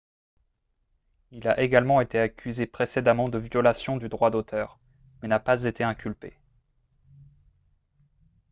il a également été accusé précédemment de violation du droit d'auteur mais n'a pas été inculpé